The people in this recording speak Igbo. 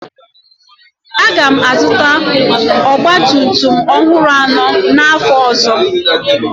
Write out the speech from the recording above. Aga m azụta ọgba tum tum ọhụrụ anọ n'afọ ọzọ.